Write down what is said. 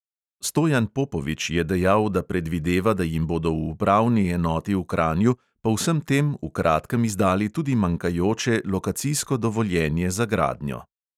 Stojan popovič je dejal, da predvideva, da jim bodo v upravni enoti v kranju po vsem tem v kratkem izdali tudi manjkajoče lokacijsko dovoljenje za gradnjo.